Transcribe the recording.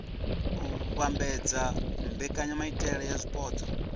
u vhambedza mbekanyamaitele ya zwipotso